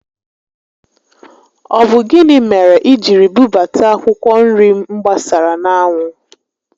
Ọ bụ gịnị mere i jiri bubata akwụkwọ nri m gbasara n'anwụ?